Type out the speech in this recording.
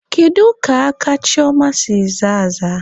Kedu ka aka Chioma si zaa aza?